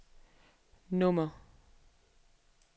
nummer